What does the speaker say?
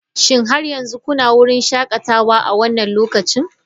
Shin har yanzu kuna wurin shakatawa a wannan lokacin?